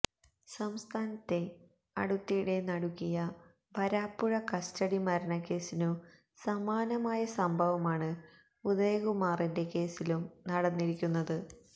സംസ്ഥാനത്തെ അടുത്തിടെ നടുക്കിയ വരാപ്പുഴ കസ്റ്റഡി മരണക്കേസിനു സമാനമായ സംഭവമാണ് ഉദയകുമാറിന്റെ കേസിലും നടന്നിരിക്കുന്നത്